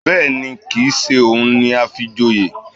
Bẹ́ẹ̀ni, kìí ṣe òun ni a fi joyè